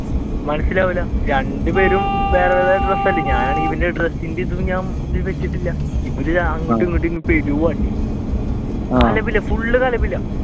മനസിലാവൂല രണ്ട പേരും വേറെ വേറെ ഡ്രസ്സ് അല്ലെ ഞാൻ ഇവന്റെ ഡ്രസ്സിന്റെ ഇതും ഇവർ അങ്ങോട്ടും ഇങ്ങോട്ടും full കലപില